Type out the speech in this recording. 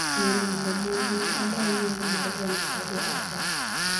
MILAMBO-monj maobau nying mar xenophobia attack.